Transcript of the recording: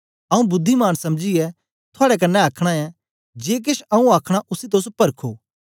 आऊँ बुद्धिमान समझीयै थुआड़े कन्ने आखना ऐं जे केछ आऊँ आखना उसी तोस परखो